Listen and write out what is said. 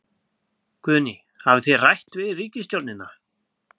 Guðný: Hafið þið rætt við ríkisstjórnina?